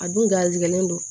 A dun garisigɛlen don